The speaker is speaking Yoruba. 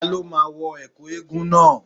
Ta ló máa wọ Ẹ̀kú eégún náà.